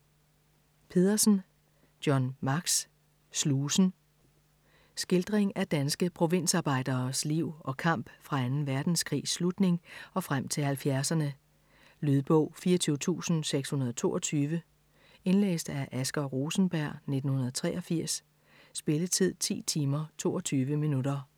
Pedersen, John Max: Slusen Skildring af danske provinsarbejderes liv og kamp fra anden verdenskrigs slutning og frem til 70'erne. Lydbog 24622 Indlæst af Asger Rosenberg, 1983. Spilletid: 10 timer, 22 minutter.